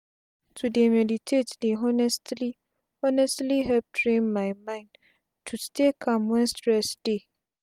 to dey meditate dey honestly honestly help train my mind to stay calm wen stress dey